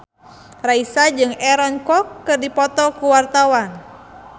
Raisa jeung Aaron Kwok keur dipoto ku wartawan